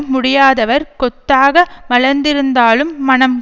முடியாதவர் கொத்தாக மலர்ந்திருந்தாலும் மணம்